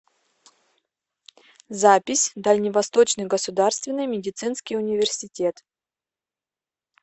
запись дальневосточный государственный медицинский университет